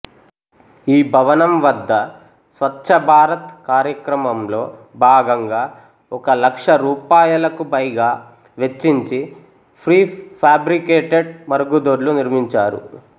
ఈ భవనం వద్ద స్వచ్ఛభారత్ కార్యక్రమంలో భాగంగా ఒక లక్ష రూపాయలకు పైగా వెచ్చించి ప్రీఫాబ్రికేటెడ్ మరుగుదొడ్లు నిర్మించారు